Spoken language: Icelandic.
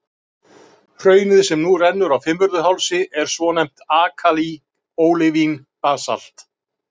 Hraunið, sem nú rennur á Fimmvörðuhálsi, er svonefnt alkalí-ólivín-basalt.